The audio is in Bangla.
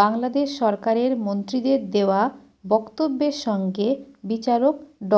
বাংলাদেশ সরকারের মন্ত্রীদের দেয়া বক্তব্যের সঙ্গে বিচারক ড